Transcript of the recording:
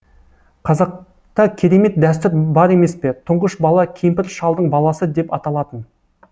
қазақта керемет дәстүр бар емес пе тұңғыш бала кемпір шалдың баласы деп аталатын